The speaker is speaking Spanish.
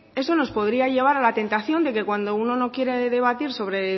eso nos podría llevar a la tentación de que cuando uno no quiere debatir sobre